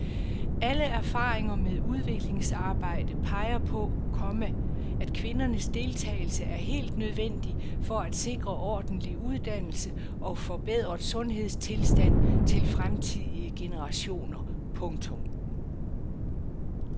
Alle erfaringer med udviklingsarbejde peger på, komma at kvindernes deltagelse er helt nødvendig for at sikre ordentlig uddannelse og forbedret sundhedstilstand til fremtidige generationer. punktum